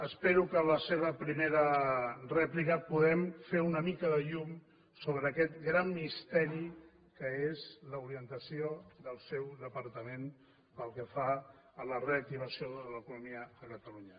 espero que a la seva primera rèplica puguem fer una mica de llum sobre aquest gran misteri que és l’orientació del seu departament pel que fa a la reactivació de l’economia de catalunya